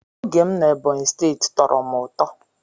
Oge m na Ebonyi steeti tọrọ m ụtọ.